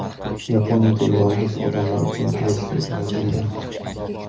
Yaponiyada yolg‘iz odamlar uchun kreslo yaratildi.